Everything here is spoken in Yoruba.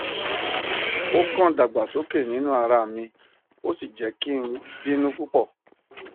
o kan dagbasoke ninu ara mi o si jẹ ki n binu pupọ